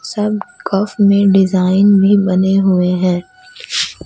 सब कफ में डिजाइन भी बने हुए हैं।